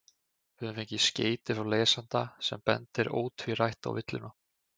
Við höfum fengið skeyti frá lesanda sem bendir ótvírætt á villuna.